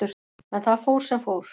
En það fór sem fór.